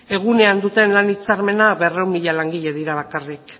egunean duten lan hitzarmena berrehun mila langile dira bakarrik